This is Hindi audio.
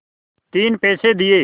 तीन पैसे दिए